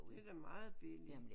Det er da meget billigt